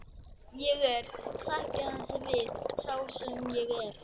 Ég er, sætti hann sig við, sá sem ég er.